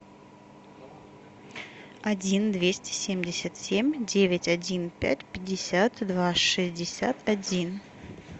один двести семьдесят семь девять один пять пятьдесят два шестьдесят один